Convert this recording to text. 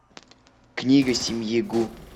книга семьи гу